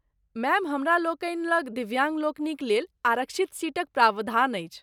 Ma'am, हमरालोकनि लग दिव्याङ्ग लोकनिक लेल आरक्षित सीटक प्रावधान अछि।